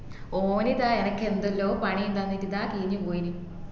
ഓൻ ഇതാ എനക്ക് എന്തെല്ലോ പണിയും തന്നിട്ട് ഇതാ കീഞ്ഞു പോയിന്